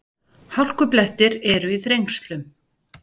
Hálkublettir eru í Þrengslum